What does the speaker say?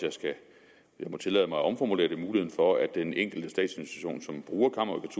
jeg må tillade mig at omformulere det muligheden for at den enkelte statsinstitution som bruger